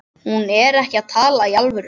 Hún er ekki að tala í alvöru.